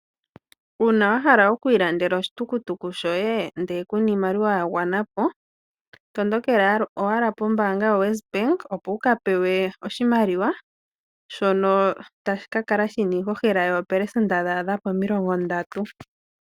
Owa hala okulanda oshitukutuku shoye ashike ku na iimaliwa ya gwana po? Tondokela ko West Bank, opo wu ka pewe omukuli gwoshimaliwa, shono shina iihohela yoo pelesenda omilongo ndatu.